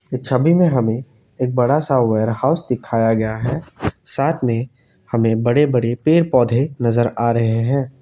इस छवि में हमें एक बड़ासा वेयर हाउस दिखाया गया है साथ में हमें बड़े बड़े पेड़ पौधे नजर आ रहे हैं।